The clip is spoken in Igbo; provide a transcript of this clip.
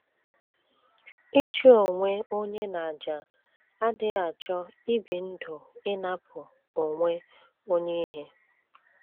Ịchụ onwe onye n’àjà adịghị achọ ibi ndụ ịnapụ onwe onye ihe.